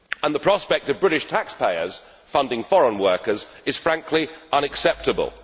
The prospect of British taxpayers funding foreign workers is, frankly, unacceptable.